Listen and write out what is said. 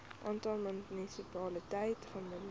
aantal munisipaliteite gemoniteer